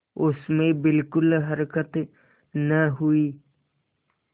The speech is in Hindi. उसमें बिलकुल हरकत न हुई